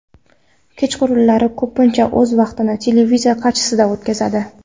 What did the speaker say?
Kechqurunlari ko‘pincha o‘z vaqtini televizor qarshisida o‘tkazadi.